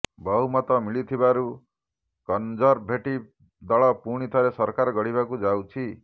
ବହୁମତ ମିଳିଥିବାରୁ କନଜରଭେଟିଭ ଦଳ ପୁଣି ଥରେ ସରକାର ଗଢ଼ିବାକୁ ଯାଉଛି